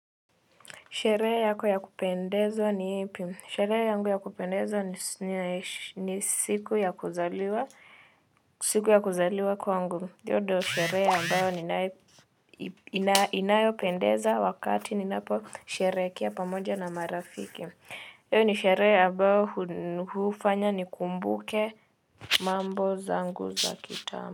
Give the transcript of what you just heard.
Sherehe yako ya kupendeza ni ipi? Sherehe yangu ya kupendeza ni siku ya kuzaliwa siku ya kuzaliwa kwangu. Hiyo ndio sherehe ambayo inayopendeza wakati ninaposherehekea pamoja na marafiki. Hiyo ni sherehe ambayo hufanya nikumbuke mambo zangu za kitambo.